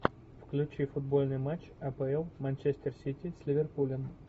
включи футбольный матч апл манчестер сити с ливерпулем